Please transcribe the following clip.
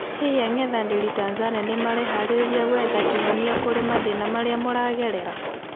Hii ang'ethaniri Tanzania nimehaririirie guetha kihonia kuri mathina maria mũragerera?